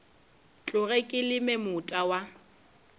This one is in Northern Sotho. tloge ke leme moota wa